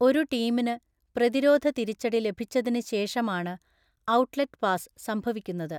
ഒരു ടീമിന് പ്രതിരോധ തിരിച്ചടി ലഭിച്ചതിന് ശേഷമാണ് 'ഔട്ട്ലെറ്റ് പാസ്' സംഭവിക്കുന്നത്.